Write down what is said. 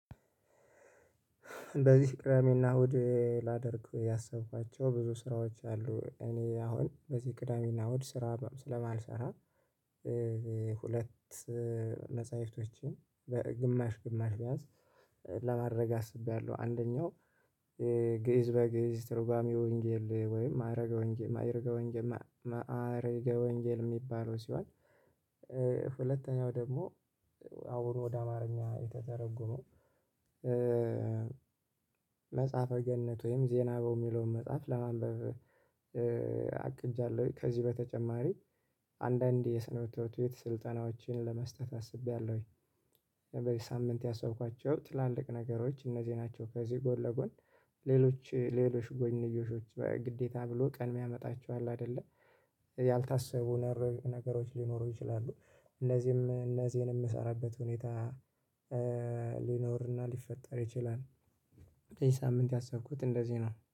በዚህ ቅዳሜና እሁድ ላደርግ ያሰብኳቸው ብዙ ስራዎች አሉ እኔ አሁን በዚህ ቅዳሜና እሁድ ስራ ስለማልሰራ። ሁለት መፅሀፍቶችን በግማሽ ግማሽ ቢያንስ ለማድረግ አስቤያለሁ። አንደኛው ግእዝ በግእዝ ትርጓሜ ወንጌል ወይም ማረገ ወንጌል ማይረገ ወንጌል ማረገ ወንጌል የሚባለው ሲሆን። ሁለተኛው ደግሞ አሁን ወደ አማርኛ የተተረጎመው መጽሐፈ ገነት ወይም ዜና አበው ሚለውን መጽሐፍ ለማንበብ አቅጃለሁ። ከዚህ በተጨማሪ አንዳንዴ የሰንበት ትምርትቤት ስልጠናዎችን ለመስጠት አስቤያለሁ። በዚ ሳምንት ያሰብኳቸው ትላልቅ ነገሮች እነዚህ ናቸው። ከዚህ ጎል ለጎን ሌሎች ሌሎች ጎንዮሾች ግዴታ ብሎ ቀን ሚያመጣቸው አለ አደለ ያልታሰቡ ነገሮች ሊኖሩ ይችላሉ። እነዚህም እነዚህን ምሰራበት ሁኔታ ሊኖርና ሊፈጠር ይችላል። ይሄ ሳምንት ያሰብኩት እንደዚህ ነው